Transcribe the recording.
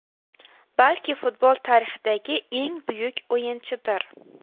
Balki, futbol tarixidagi eng buyuk o‘yinchidir.